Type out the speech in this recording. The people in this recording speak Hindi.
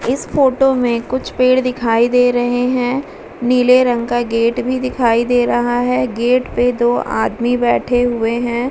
इस फोटो में कुछ पेड़ दिखाई दे रहे हैं। नीले रंग का गेट भी दिखाई दे रहा है गेट पे दो आदमी बैठे हुए हैं।